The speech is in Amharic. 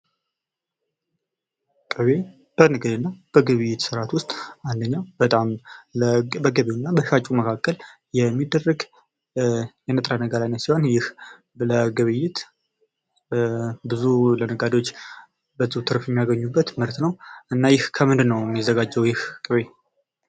ቅቤ በንግድ እና በግብይት ስርአት ውስጥ አንደኛው በጣም በገቢው እና በሻጩ መካከል የሚደረግ የንጥረ ነገር አይነት ሲሆን ይህ ለግብይት ብዙ ለነጋዴዎች ብዙ ትርፍ የሚያገኙበት ምርት ነው ። እና ይህ ከምንድን ነው ሚዘጋጀው ይህ ቅቤ ?